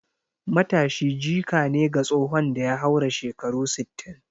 Matashi jika ne ga tsohon da ya haura shekaru sittin